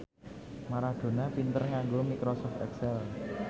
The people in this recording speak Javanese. Maradona pinter nganggo microsoft excel